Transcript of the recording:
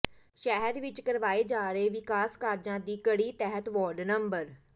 ਸ਼ਹਿਰ ਵਿੱਚ ਕਰਵਾਏ ਜਾ ਰਹੇ ਵਿਕਾਸ ਕਾਰਜਾਂ ਦੀ ਕੜੀ ਤਹਿਤ ਵਾਰਡ ਨੰ